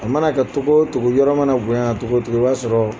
A mana kɛ togo o togo yɔrɔ mana bonya togo o togo i ba sɔrɔ.